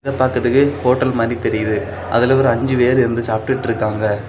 இத பாக்கதுக்கு ஹோட்டல் மாதிரி தெரியுது அதுல ஒரு அஞ்சு பேர் இருந்து சாப்டுட்டு இருக்காங்க.